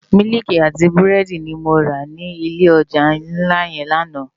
Miliki àti búrédi ni mó rá ni ilé òjá nlá yèn làná